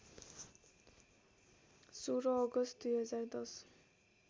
१६ अगस्त २०१०